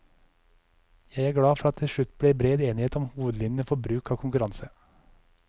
Jeg er glad for at det til slutt ble bred enighet om hovedlinjene for bruk av konkurranse.